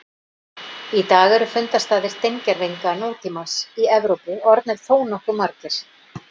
Í dag eru fundarstaðir steingervinga nútímamannsins í Evrópu orðnir þónokkuð margir.